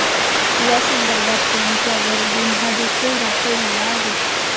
यासंदर्भात त्यांच्यावर गुन्हादेखील दाखल झाला आहे.